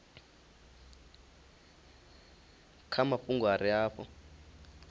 kha mafhungo a re afho